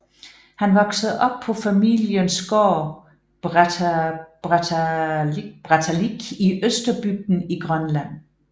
Han voksede op på familiens går Brattahlíð i Østerbygden i Grønland